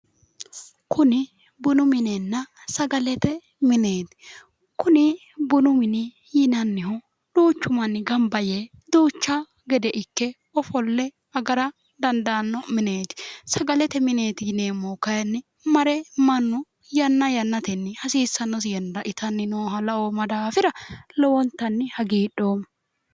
kuni bunu minenna sagalete mineeti kuni bunu mini yinannihu duuchu manni gamba yee duucha gede ikke agara dandaanno mineeti sagalete mineeti yineemmohu kayinni yanna yannatenni hasiissannosi yannara itanna laoomma daafira lowontanni hagiidhoomma